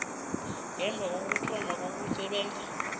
ngemva kokuthoma kokusebenza